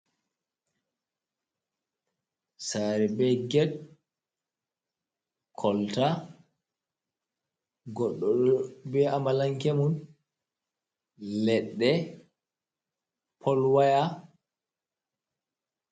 Saare be get, kolta ,goɗɗo be amalanke mum, leɗɗe, polwaya.